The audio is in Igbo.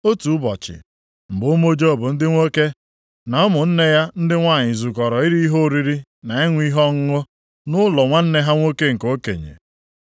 Otu ụbọchị, mgbe ụmụ Job ndị nwoke na ụmụnne ya ndị nwanyị zukọrọ iri ihe oriri na ịṅụ ihe ọṅụṅụ nʼụlọ nwanne ha nwoke nke okenye.